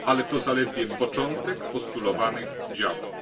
Ale to zaledwie początek postulowanych działań.